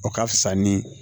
O ka fisa ni